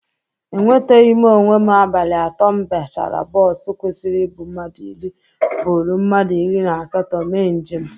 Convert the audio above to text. Enweteghi m onwe m abalị atọ m bachara bọsu kwesiri ibụ mmadụ iri bụrụ mmadụ iri na asatọ mee njem.